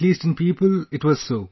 At least in people, it was so